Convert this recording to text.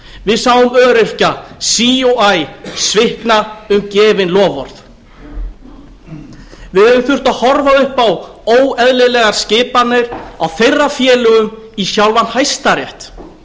við sáum öryrkja sí og æ svikna um gefin loforð við höfum þurft að horfa upp óeðlilegar skipanir á þeirra félögum í sjálfan hæstarétt og